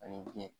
Ani biɲɛ